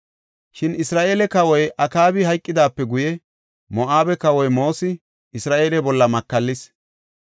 Shin Isra7eele kawoy Akaabi hayqidaape guye, Moo7abe kawoy Moosi Isra7eele bolla makallis.